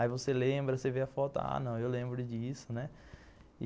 Aí você lembra, você vê a foto, ah, não, eu lembro disso, né?